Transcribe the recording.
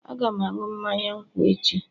Aga m aṅụ mmanya nkwụ echi